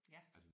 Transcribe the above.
Ja